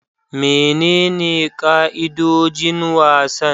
Menene ka'idojin wasan?